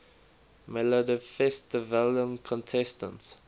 melodifestivalen contestants